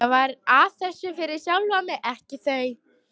Ég var að þessu fyrir sjálfan mig, ekki þau.